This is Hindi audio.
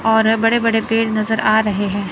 और बड़े बड़े पेड़ नजर आ रहे हैं।